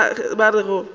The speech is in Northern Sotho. selo se ba rego ke